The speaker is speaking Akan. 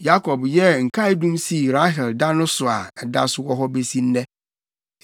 Yakob yɛɛ nkaedum sii Rahel da no so a ɛda so wɔ hɔ besi nnɛ.